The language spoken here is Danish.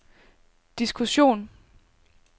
diskussion